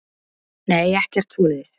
Nei, ekkert svoleiðis.